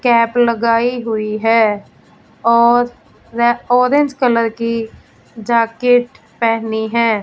Cap लगाई हुई है और ऑरेंज कलर की जाकेट पहनी है।